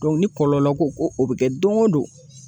ni kɔlɔlɔ ko ko o bɛ kɛ dongo don